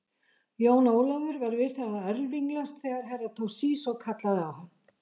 Jón Ólafur var við það að örvinglast þegar Herra Toshizo kallaði á hann.